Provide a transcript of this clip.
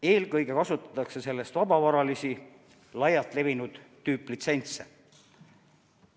Eelkõige kasutatakse selleks vabavaralisi laialt levinud tüüplitsentse.